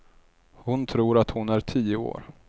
Hon tror att hon är tio år.